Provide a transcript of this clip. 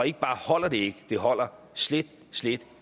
ikke bare holder det ikke det holder slet slet